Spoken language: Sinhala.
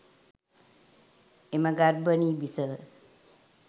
එම ගර්භනී බිසව